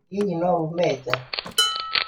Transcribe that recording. Hihi no uume nja?